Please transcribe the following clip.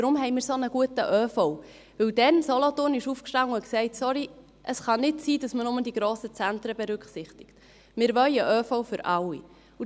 Wir haben deshalb einen solch guten ÖV, weil der Kanton Solothurn damals aufstand und sagte: «Es kann nicht sein, dass man nur die grossen Zentren berücksichtigt, wir wollen einen ÖV für alle.»